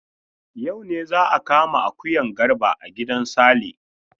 Yau ne za a kama akuyan Garba a gidan Sale.